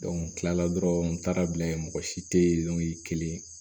n kilala dɔrɔn n taara bila yen mɔgɔ si te yen kelen